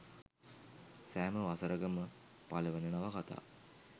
සෑම වසරක ම පළවන නවකථා